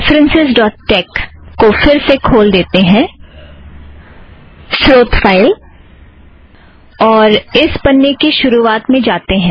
references dot tex referencesटेक्स को फ़िर से खोल देते हैं स्रोत फ़ाइल और इस पन्ने की शुरुवात में जाते हैं